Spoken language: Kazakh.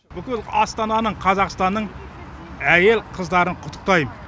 бүкіл астананың қазақстанның әйел қыздарын құттықтайм